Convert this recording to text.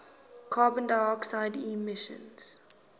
carbon dioxide emissions